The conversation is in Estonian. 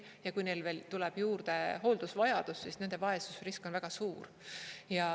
Ja kui neil veel tuleb juurde hooldusvajadus, siis nende vaesusrisk on väga suur.